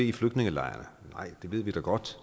i flygtningelejrene nej vi ved da godt